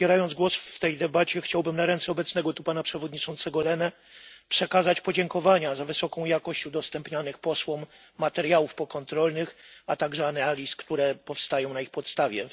Zabierając głos w tej debacie, chciałbym na ręce obecnego tu Pana Przewodniczącego Lehnego przekazać podziękowania za wysoką jakość udostępnianych posłom materiałów pokontrolnych, a także analiz, które powstają na ich podstawie.